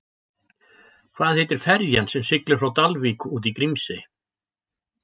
Hvað heitir ferjan sem siglir frá Dalvík út í Grímsey?